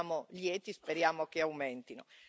Ne siamo lieti, speriamo che aumentino.